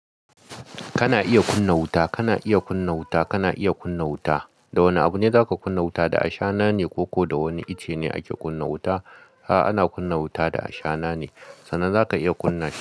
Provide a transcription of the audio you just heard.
Kana iya kunna wuta, kana iya kunna wuta, kana iya kunna wuta. Da wane abu ne za ka kunna wuta, da ashana ne ko da wani icce ne ake kunna wuta? A'a, ana kunna wuta da ashana ne sannan za ka iya kunna shi.